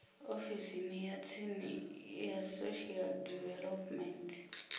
ofisini ya tsini ya social development